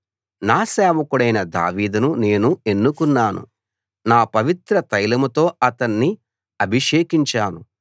నా సేవకుడైన దావీదును నేను ఎన్నుకున్నాను నా పవిత్ర తైలంతో అతన్ని అభిషేకించాను